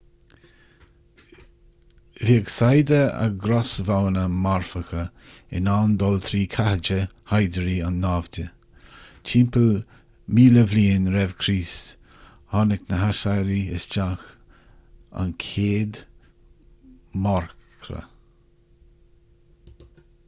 bhíodh saigheada a gcrosbhoghanna marfacha in ann dul trí chathéide shaighdiúrí an naimhde timpeall 1000 r.c. thug na haisiriaigh isteach an chéad mharcra